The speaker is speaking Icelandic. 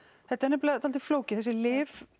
þetta er nefnilega dálítið flókið þessi lyf